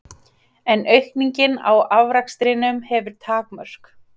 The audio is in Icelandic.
En aukningin á afrakstrinum hefur takmörk.